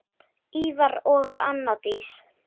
Ívar og Anna Dís.